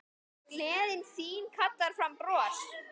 Álfa sjá stundum konur.